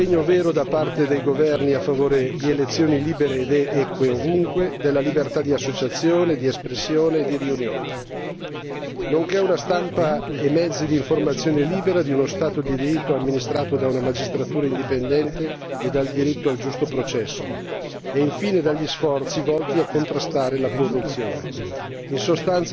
Ciò significa un impegno vero da parte dei governi a favore di elezioni libere ed eque ovunque, della libertà di associazione, di espressione e di riunione, nonché una stampa e mezzi d'informazione liberi, di uno Stato di diritto amministrato da una magistratura indipendente e dal diritto a un giusto processo e, infine, dagli sforzi volti a contrastare la corruzione.